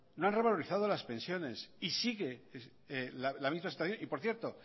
no han revalorizado las pensiones y sigue la misma situación y por cierto